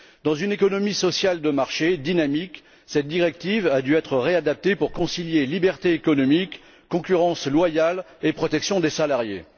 Dans une économie sociale de marché dynamique, cette directive a dû être révisée pour concilier liberté économique, concurrence loyale et protection des salariés.